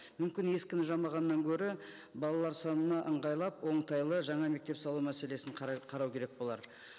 мүмкін ескіні жамағаннан гөрі балалар санына ыңғайлап оңтайлы жаңа мектеп салу мәселесін қарау керек болар